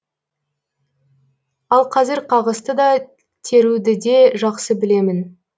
ал қазір қағысты да теруді де жақсы білемін